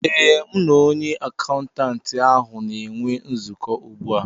Ee, m na onye akaụntantị ahụ na-enwe nzukọ ugbu a